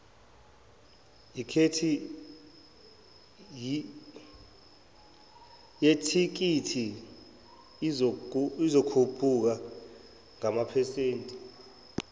yethikithi izokhuphuka ngamaphesenti